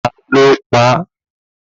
Ta ló pa á?